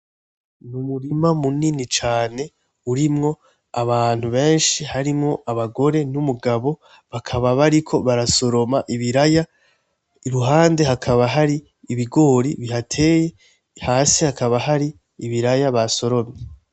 Numurima munini cane urimwo abantu benshi harimwo abagore numugabo bakaba bariko barasoroma ibiraya iruhande hakaba har'ibigori bihateye hasi hakaba hari ibiraya basoromye.